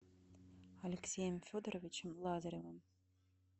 алексеем федоровичем лазаревым